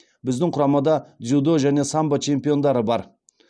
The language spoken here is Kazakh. біздің құрамада дзюдо және самбо чемпиондары бар